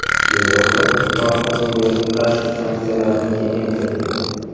Yevropa Ittifoqi Suriyaga qarshi sanksiyalarni kengaytirdi.